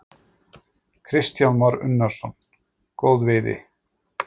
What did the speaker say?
Kristján Már Unnarsson: Góð veiði?